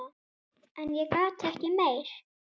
En ég gat ekki meir.